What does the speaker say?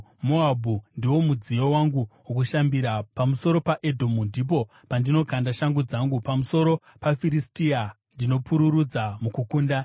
Moabhu ndiwo mudziyo wangu wokushambira, pamusoro paEdhomu ndipo pandinokanda shangu yangu; pamusoro paFiristia ndinopururudza mukukunda.”